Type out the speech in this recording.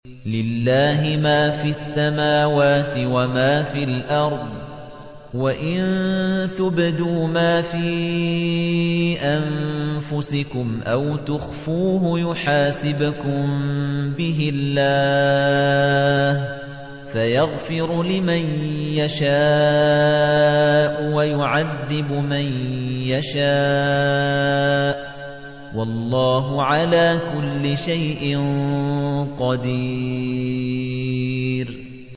لِّلَّهِ مَا فِي السَّمَاوَاتِ وَمَا فِي الْأَرْضِ ۗ وَإِن تُبْدُوا مَا فِي أَنفُسِكُمْ أَوْ تُخْفُوهُ يُحَاسِبْكُم بِهِ اللَّهُ ۖ فَيَغْفِرُ لِمَن يَشَاءُ وَيُعَذِّبُ مَن يَشَاءُ ۗ وَاللَّهُ عَلَىٰ كُلِّ شَيْءٍ قَدِيرٌ